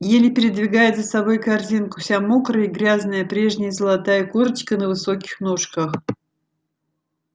еле передвигает за собой корзинку вся мокрая и грязная прежняя золотая курочка на высоких ножках